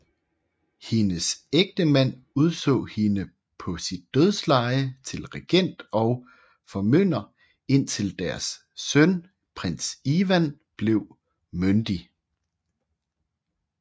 Hendes ægtemand udså hende på sit dødsleje til regent og formynder indtil deres søn prins Ivan blev myndig